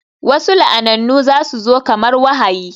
Wasu la'anannu za su zo kamar wahayi